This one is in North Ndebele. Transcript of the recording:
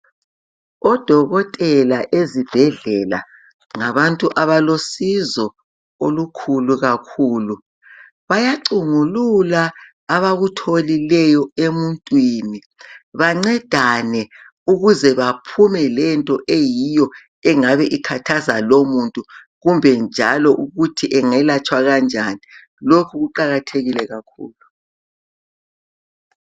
Odokotela ezibhedlela ngabantu abalo zlsizo olukhulu kakhulu bayacungulula abakutholileyo emuntwini bancedane ukuze baphume lento eyiyo engabe ikhathaza loyo muntu kumbe njalo ukuthi engalatshwa kanjani lokhu kuqakathekile kakhulu.